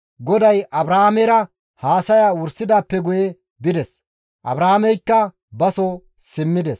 GODAY Abrahaamera haasaya wursidaappe guye bides; Abrahaameykka baso simmides.